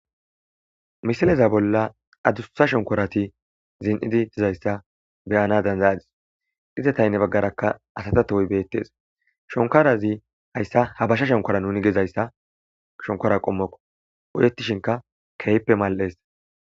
misileza bolla adussa shonkorati zin7idi dizayssa beyana danzayadis izeta henni baggarakka asata tohoy beettees shonkarazi hayssa habasha shonkora nuni gizayssa shonkora qommokko oyettishinka keehippe mal7ees